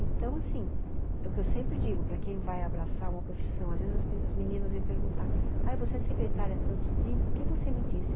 Então, assim, é o que eu sempre digo para quem vai abraçar uma profissão, às vezes as meninas vêm perguntar, ''ah, você é secretária há tanto tempo, o que você me disse?''